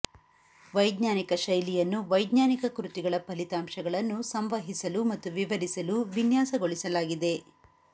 ವೈಜ್ಞಾನಿಕ ಶೈಲಿಯನ್ನು ವೈಜ್ಞಾನಿಕ ಕೃತಿಗಳ ಫಲಿತಾಂಶಗಳನ್ನು ಸಂವಹಿಸಲು ಮತ್ತು ವಿವರಿಸಲು ವಿನ್ಯಾಸಗೊಳಿಸಲಾಗಿದೆ